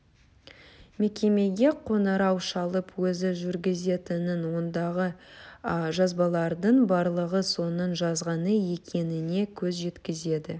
мекемеге қоңырау шалып өзі жүргізетінін ондағы жазбалардың барлығы соның жазғаны екеніне көз жеткізді